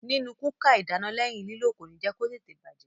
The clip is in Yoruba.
Nínu kúkà ìdáná lẹ́yìn lílò kòní jẹ́ kó tètè bàjẹ́.